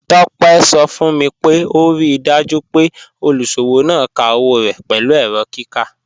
Tope sọ fun mi pé o ríì dájú pé olúṣọwọ náà ká owo rẹ́ pẹ̀lú èrọ̀ kíkà.